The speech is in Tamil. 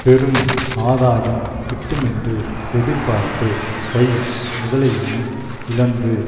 பெரும் ஆதாயம் கிட்டுமென்று எதிர்பார்த்து கை முதலையையும் இழந்து